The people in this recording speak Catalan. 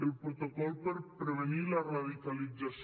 el protocol per prevenir la radicalització